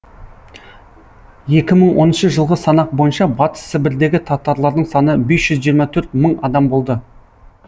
екі мың оныншы жылғы санақ бойынша батыс сібірдегі татарлардың саны бес жүз жиырма төрт мың адам болды